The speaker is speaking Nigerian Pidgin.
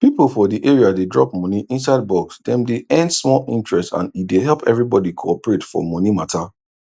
people for the area dey drop money inside box dem dey earn small interest and e dey help everybody cooperate for money matter